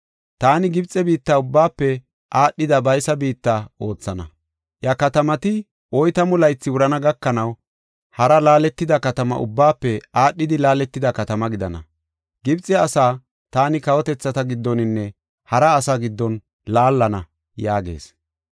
Taani Gibxe biitta ubbaafe aadhida baysa biitta oothana; iya katamati oytamu laythi wurana gakanaw, hara laaletida katama ubbaafe aadhidi laaletida katama gidana. Gibxe asaa taani kawotethata giddoninne hara asaa giddon laallana” yaagees.